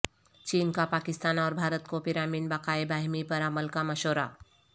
چین کا پاکستان اور بھارت کو پرامن بقائے باہمی پر عمل کا مشورہ